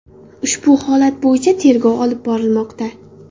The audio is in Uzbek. Ushbu holat bo‘yicha tergov olib borilmoqda.